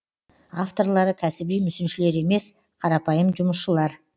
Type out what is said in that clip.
авторлары кәсіби мүсіншілер емес қарапайым жұмысшылар